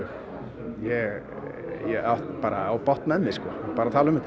ég á bágt með mig bara að tala um þetta